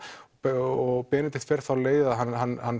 og Benedikt fer þá leið að hann